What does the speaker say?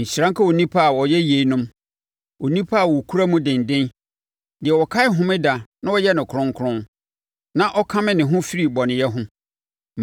Nhyira nka onipa a ɔyɛ yeinom, onipa a ɔkura mu denden: deɛ ɔkae Homeda na ɔyɛ no kronkron, na ɔkame ne ho firi bɔneyɛ ho.”